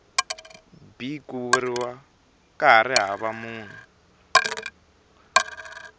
b ku ri hava munhu